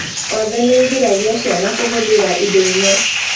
Waathe nĩ ũgiragia ciana kũhũthĩra indo imwe